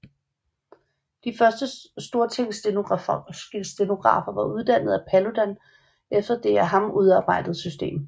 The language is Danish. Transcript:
De første Stortingsstenografer var uddannede af Paludan efter det af ham udarbejdede system